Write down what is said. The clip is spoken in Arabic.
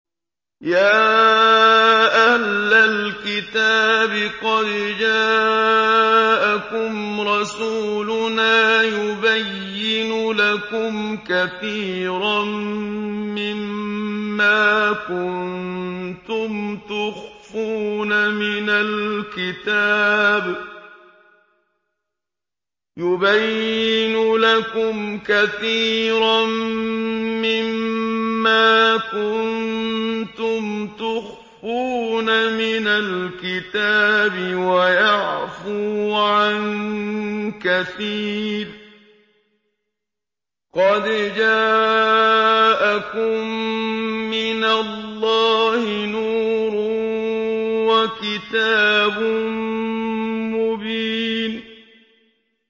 يَا أَهْلَ الْكِتَابِ قَدْ جَاءَكُمْ رَسُولُنَا يُبَيِّنُ لَكُمْ كَثِيرًا مِّمَّا كُنتُمْ تُخْفُونَ مِنَ الْكِتَابِ وَيَعْفُو عَن كَثِيرٍ ۚ قَدْ جَاءَكُم مِّنَ اللَّهِ نُورٌ وَكِتَابٌ مُّبِينٌ